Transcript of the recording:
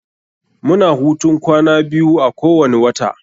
Mu na hutun kwana biyu a kowani wata.